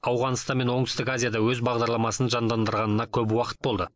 ауғанстан мен оңтүстік азияда өз бағдарламасын жандандырғанына көп уақыт болды